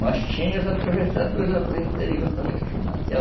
Mas tinha os atravessadores lá pelo interior também que financiavam.